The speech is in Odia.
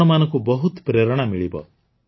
ଆପଣମାନଙ୍କୁ ବହୁତ ପ୍ରେରଣା ମିଳିବ